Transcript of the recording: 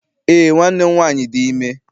Eé, nwanne m nwaanyị dị ime.